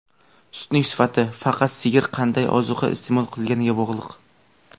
Sutning sifati faqat sigir qanday ozuqa iste’mol qilganiga bog‘liq.